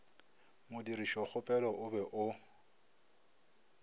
modirišokgopelo o be o o